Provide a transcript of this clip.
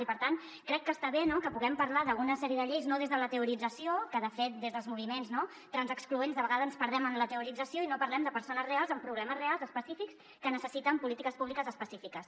i per tant crec que està bé que puguem parlar d’una sèrie de lleis no des de la teorització que de fet des dels moviments transexcloents de vegades ens perdem en la teorització i no parlem de persones reals amb problemes reals específics que necessiten polítiques públiques específiques